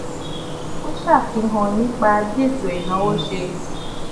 ó ṣe àfihàn nípa bí ètò ìnáwó ṣe